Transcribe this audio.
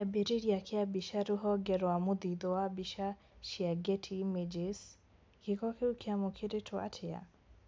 Kĩambĩrĩria kĩa mbica rũhonge rwa mũthithũ wa mbica cia Getty images, gĩko kĩu kĩamũkĩrĩtwo atĩa?